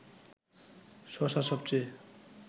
শশার সবচেয়ে